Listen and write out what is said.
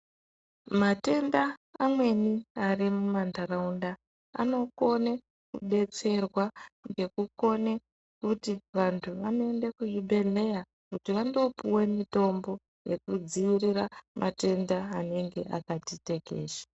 Matenda amweni ari mumandaraunda anokone kudetserwa ngekukone kuti vantu vanoende kuzvibhedhleya kuti vandopiwe mitombo yekudzivirira matenda anenge akati tekeshe.